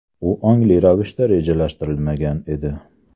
U ongli ravishda rejalashtirilmagan edi.